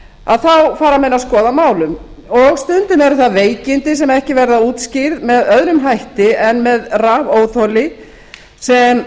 að þá fara menn að skoða málin stundum eru það veikindi sem ekki verða útskýrð að öðrum hætti en með rafóþoli sem